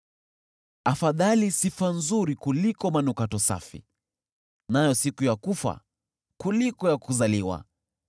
Afadhali sifa nzuri kuliko manukato safi, nayo siku ya kufa kuliko ya kuzaliwa.